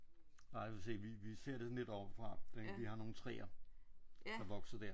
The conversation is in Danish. Vi vi ser det sådan lidt ovenfra ik? Vi har nogle træer der vokser der